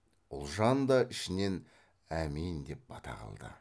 ұлжан да ішінен әмин деп бата қылды